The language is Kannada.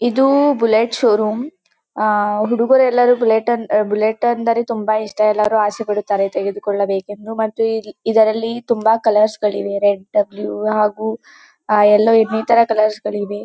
ಇದು ಬುಲೆಟ್ ಶೋರ್ರೋಮ್ ಆಹ್ಹ್ ಹುಡುಗರು ಎಲ್ಲರಿಗೂ ಬುಲೆಟ್ ಬುಲೆಟ್ ಅಂದ್ರೆ ತುಂಬ ಇಷ್ಟ ಎಲ್ಲರು ಆಸೆ ಪಡುತ್ತಾರೆ ತೆಗೆದುಕೊಳ್ಳಬೇಕೆಂದು ಮತ್ತು ಇದರಲ್ಲಿ ತುಂಬ ಕಲರ್ಸ್ ಗಳು ಇವೆ ರೆಡ್ ಬ್ಲೂ ಹಾಗೂ ಎಲ್ಲೋ ಇನ್ನಿತರ ಕಲರ್ಸ್ ಇವೆ .